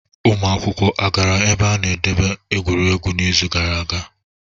Ụmụ akwụkwọ a gara ebe a na-edebe egwuregwu n'izu gara aga?